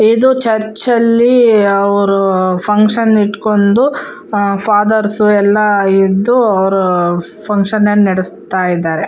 ಇದು ಚುರ್ಕ ಅಲ್ಲಿ ಅವ್ರು ಫುನ್ಕ್ಷನ್ ಇಟ್ಕೊಂಡು ಅವ್ರು ಫಾಥೇರ್ಸ್ ಎಲ್ಲ ಇದ್ದು ಫುನ್ಕ್ಷನ್ ನ ನಡಿಸ್ತಾ ಇದ್ದಾರೆ.